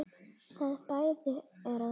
Það bæri að þakka.